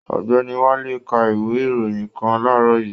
Ọ̀gbẹ́ni Wálé ka ìwé ìròyìn kàn laarọ yìí.